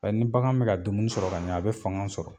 Ni bagan bɛ ka dumuni sɔrɔ ka ɲɛ a bɛ fanga sɔrɔ